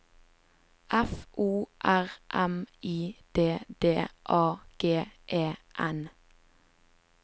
F O R M I D D A G E N